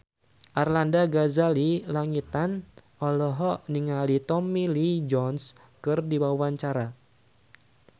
Arlanda Ghazali Langitan olohok ningali Tommy Lee Jones keur diwawancara